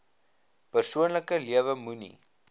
persoonlike lewe moenie